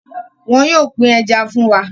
wón yóò pin Ẹja fún wá.